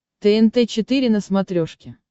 тнт четыре на смотрешке